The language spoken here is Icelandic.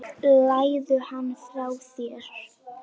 Legðu hann frá þér